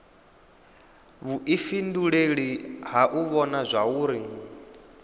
vhuifhinduleli ha u vhona zwauri